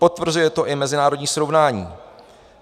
Potvrzuje to i mezinárodní srovnání.